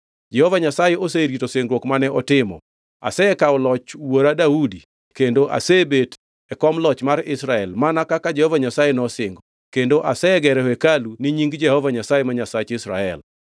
“Jehova Nyasaye oserito singruok mane otimo: Asekawo loch wuora Daudi kendo asebet e kom loch mar Israel, mana kaka Jehova Nyasaye nosingo, kendo asegero hekalu ni Nying Jehova Nyasaye, ma Nyasach Israel.